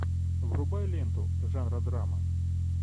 врубай ленту жанра драма